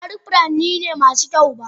Ba duk furanni ne masu kyau ba.